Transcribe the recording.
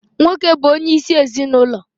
Nwoke bụ onyeisi ezinụlọ